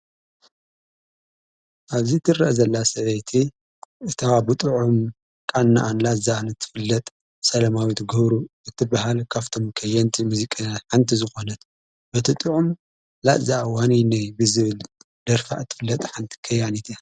ኣብዚ ትር ዘላ ሰበይቲ እተኻቦጥዑም ቃናኣንላ ዝኣን እትፍለጥ ሰለማዊት ግህሩ እትብሃል ካፍቶም ከየንቲ ምዚቕ ሓንቲ ዝኾነት በቲ ጢዑም ላእዝ ዋነይነይ ብዝብል ደርፋዕ እትፍለጠ ሓንቲ ከያኒት እያ።